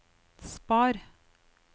spar